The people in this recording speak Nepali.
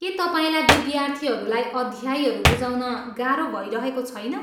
के तपाईँलाई विद्यार्थीहरूलाई अध्यायहरू बुझाउन गाह्रो भइरहेको छैन?